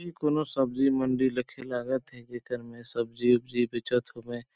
इ कोनों सब्जी मंडी लखे लागत हे जेकर में सब्जी -वबजी बेचत होबे।